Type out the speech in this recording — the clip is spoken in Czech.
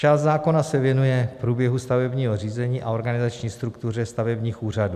Část zákona se věnuje průběhu stavebního řízení a organizační struktuře stavebních úřadů.